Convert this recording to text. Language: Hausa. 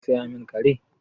Za ka saya min kare?